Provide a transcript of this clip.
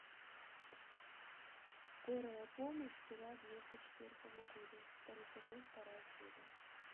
скорая помощь сериал девяносто четвертого года второй сезон вторая серия